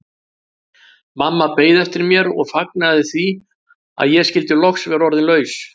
Mamma beið eftir mér og fagnaði því að ég skyldi loks vera orðin laus.